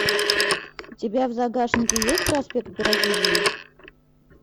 у тебя в загашнике есть проспект бразилии